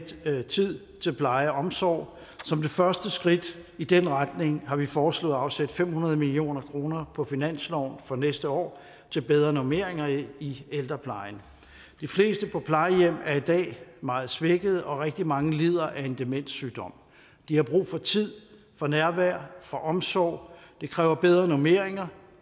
tid til pleje og omsorg som det første skridt i den retning har vi foreslået at afsætte fem hundrede million kroner på finansloven for næste år til bedre normeringer i ældreplejen de fleste på plejehjem er i dag meget svækkede og rigtig mange lider af en demenssygdom de har brug for tid for nærvær for omsorg det kræver bedre normeringer